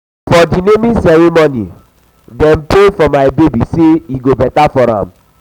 for di naming ceremony dem pray for my baby sey e go beta for am.